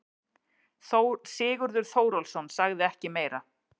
Sigurður Þórólfsson sagði ekki meira.